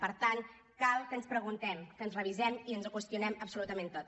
per tant cal que ens preguntem que ens revisem i ens ho qüestionem absolutament tot